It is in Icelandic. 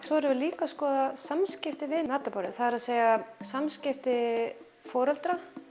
svo erum við líka að skoða samskipti við matarborðið það er að samskipti foreldra